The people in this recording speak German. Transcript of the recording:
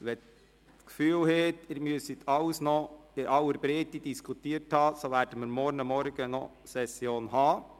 Wenn Sie das Gefühl haben, Sie müssten alles noch in aller Breite diskutieren, so wird morgen noch eine Vormittagssitzung dieser Session stattfinden.